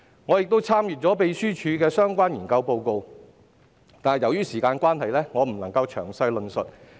我亦已參閱秘書處的相關研究報告，由於時間關係，我未能詳細論述。